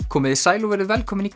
komiði sæl og verið velkomin í